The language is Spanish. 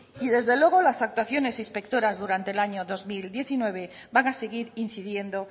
y desde luego las actuaciones inspectoras durante el año dos mil diecinueve van a seguir incidiendo